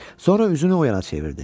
Sonra üzünü oyana çevirdi.